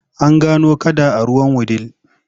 An gano kada a ruwan Wudil.